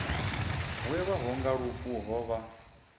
welwaho nga lufu ho vha